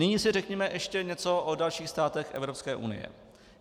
Nyní si řekněme ještě něco o dalších státech Evropské unie.